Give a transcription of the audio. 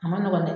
A ma nɔgɔn dɛ